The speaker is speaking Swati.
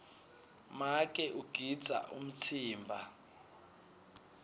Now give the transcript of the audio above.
make ugidza umtsimba